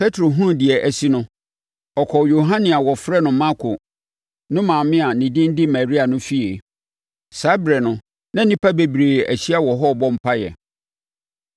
Petro hunuu deɛ asi no, ɔkɔɔ Yohane a na wɔfrɛ no Marko no maame a ne din de Maria no fie. Saa ɛberɛ no, na nnipa bebree ahyia wɔ hɔ rebɔ mpaeɛ.